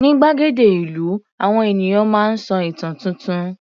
Ní gbàgede ìlú, àwọn ènìyàn máa ń sọ ìtàn tuntun.